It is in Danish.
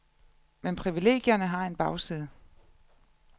Men privilegierne har en bagside.